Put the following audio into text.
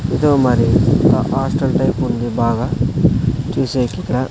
ఇదో మరి ఆ హాస్టల్ టైప్ ఉంది బాగా చూసేకి ఇక--